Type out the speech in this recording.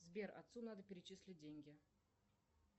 сбер отцу надо перечислить деньги